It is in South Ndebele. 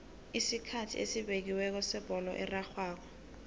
isikhathi esibekiweko sebholo erarhwako